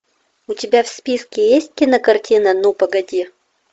у тебя в списке есть кинокартина ну погоди